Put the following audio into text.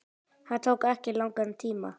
Það tók ekki langan tíma.